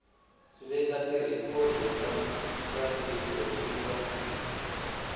veka tirhikhodo ta ntsariso eka